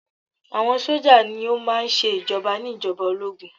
Àwọn sójà ní o máà ń ṣe ìjoba ní ìjọba ológun.